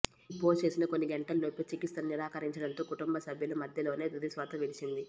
ఈ పోస్ట్ చేసిన కొన్ని గంటల్లోపే చికిత్సలను నిరాకరించడంతో కుటుంబ సభ్యుల మధ్యలోనే తుదిశ్వాస విడిచింది